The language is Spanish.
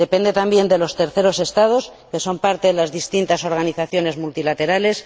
Depende también de los terceros Estados que son parte de las distintas organizaciones multilaterales